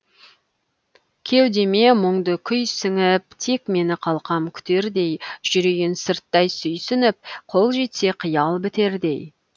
кеудеме мұңды күй сіңіп тек мені қалқам күтердей жүрейін сырттай сүйсініп қол жетсе қиял бітердей